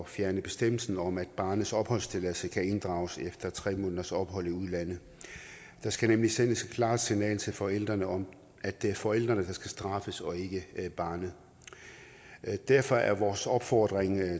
fjerne bestemmelsen om at barnets opholdstilladelse kan inddrages efter tre måneders ophold i udlandet der skal nemlig sendes et klart signal til forældrene om at det er forældrene der skal straffes og ikke barnet derfor er vores opfordring